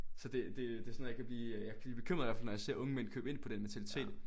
Så det det set sådan noget jeg kan blive øh jeg kan blive bekymret i hvert fald når jeg ser unge mænd købe ind på den mentalitet